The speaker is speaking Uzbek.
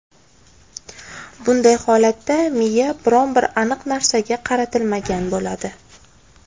Bunday holatda miya biron-bir aniq narsaga qaratilmagan bo‘ladi.